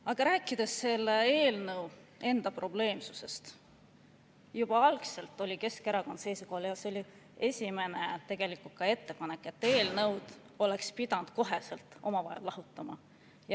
Aga rääkides selle eelnõu enda probleemsusest, siis juba algul oli Keskerakond seisukohal – see oli tegelikult ka meie esimene ettepanek –, et eelnõud oleks pidanud kohe lahutama.